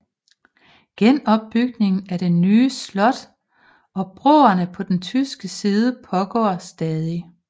Genopbygningen af det Det nye slot og broerne på den tyske side pågår stadig